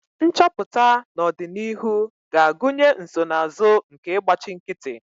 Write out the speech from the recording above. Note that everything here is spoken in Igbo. Nchọpụta n'ọdịnihu ga-agụnye nsonaazụ nke ịgbachi nkịtị